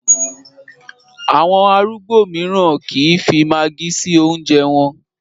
Àwọn arúgbó mìíràn kì í fi magí sí oúnjẹ wọn.